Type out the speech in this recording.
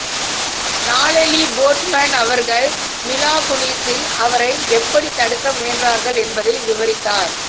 Natalie Portman அவர்கள் Mila குனிஸில் அவரை எப்படித் தடுக்க முயன்றார்கள் என்பதை விவரித்தார்